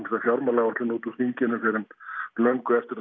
fjármálaáætlun út úr þinginu fyrr en löngu eftir